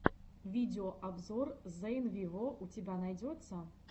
видеообзор зейн вево у тебя найдется